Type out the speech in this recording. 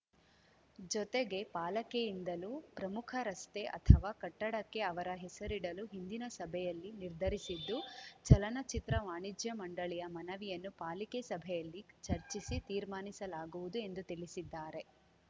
ಜೊತೆಗೆ ಪಾಲಿಕೆಯಿಂದಲೂ ಪ್ರಮುಖ ರಸ್ತೆ ಅಥವಾ ಕಟ್ಟಡಕ್ಕೆ ಅವರ ಹೆಸರಿಡಲು ಹಿಂದಿನ ಸಭೆಯಲ್ಲಿ ನಿರ್ಧರಿಸಿದ್ದು ಚಲನಚಿತ್ರ ವಾಣಿಜ್ಯ ಮಂಡಳಿಯ ಮನವಿಯನ್ನು ಪಾಲಿಕೆ ಸಭೆಯಲ್ಲಿ ಚರ್ಚಿಸಿ ತೀರ್ಮಾನಿಸಲಾಗುವುದು ಎಂದು ತಿಳಿಸಿದ್ದಾರೆ